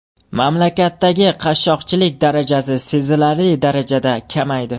Mamlakatdagi qashshoqlik darajasi sezilarli darajada kamaydi.